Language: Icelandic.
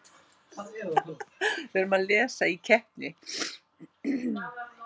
Nokkur önnur og minna áberandi einkenni finnast einungis meðal spendýra: Bein í miðeyra.